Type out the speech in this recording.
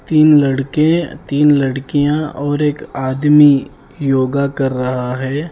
तीन लड़के तीन लड़कियां और एक आदमी योगा कर रहा है।